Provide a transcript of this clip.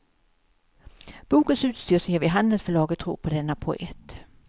Bokens utstyrsel ger vid handen att förlaget tror på denna poet.